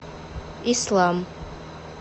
ислам